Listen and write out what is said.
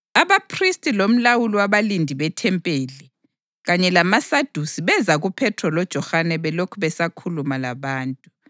Abaphristi lomlawuli wabalindi bethempeli kanye lamaSadusi beza kuPhethro loJohane belokhu besakhuluma labantu.